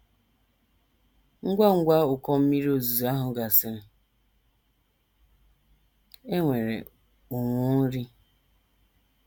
Ngwa ngwa ụkọ mmiri ozuzo ahụ gasịrị, e nwere ụnwụ nri.